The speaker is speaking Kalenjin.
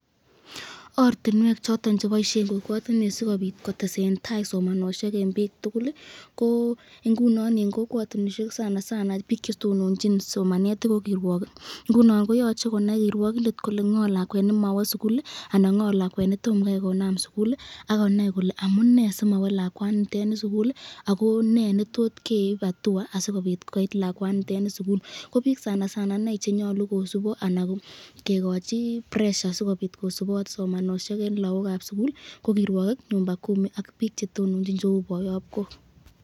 Ortinwek choton cheboisyen kokwatinwek sikobit kotesen tai somanosyek eng bik tukul , ingunon eng kokwatinwek sanasana bik chetononchin somanet ko kirwakik yoche konai kirwokindet kole ngo lakwet nemawe sukul anan ngo lakwet netomo konam sukul akonai kole amune simawe lakwaniteni sukul ako ne netot keib atua asikobit koit lakwaniton sukul ,ko bik sanasana chenyalu kosubot anan kikochin pressure asikobit kosubot somanosyek eng lakokab sukul ko kirwakik, nyumba kumi ak bik chetononchin cheu boyobkok.